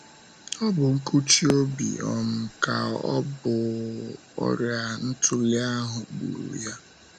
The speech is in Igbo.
Ọ̀ bụ nkụchi obi um ka ọ̀ um bụ ọrịa ntụli ahụ gburu um ya?